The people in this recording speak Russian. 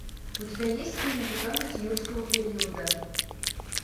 у тебя есть фильм питомец юрского периода